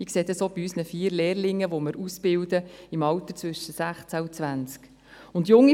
Ich sehe das auch bei unseren vier Lehrlingen im Alter zwischen 16 und 20 Jahren.